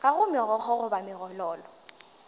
ga go megokgo goba megololo